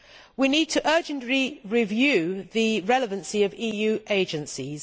We need to urgently review the relevancy of EU agencies.